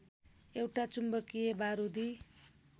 एउटा चुम्बकीय बारूदी